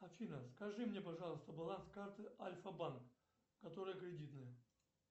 афина скажи мне пожалуйста баланс карты альфа банк которая кредитная